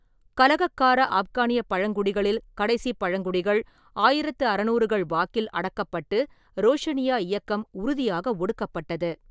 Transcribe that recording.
கலகக்கார ஆப்கானியப் பழங்குடிகளில் கடைசிப் பழங்குடிகள் ஆயிரத்து அறுநூறுகள் வாக்கில் அடக்கப்பட்டு ரோஷனியா இயக்கம் உறுதியாக ஒடுக்கப்பட்டது.